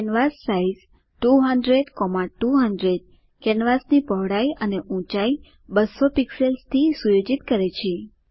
કેન્વાસાઇઝ 200200 કેનવાસની પહોળાઈ અને ઊંચાઈ 200 પિક્સેલ્સથી સુયોજિત કરે છે